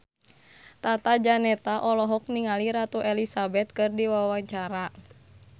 Tata Janeta olohok ningali Ratu Elizabeth keur diwawancara